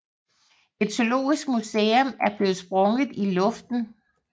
Et zoologisk museum er blevet sprunget i luften